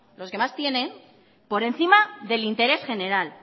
los que más tienen por encima del interés general